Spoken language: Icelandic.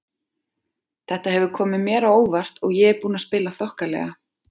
Þetta hefur komið mér á óvart og ég er búinn að spila þokkalega.